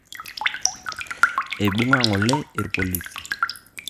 Eibung'a ng'ole irpolisi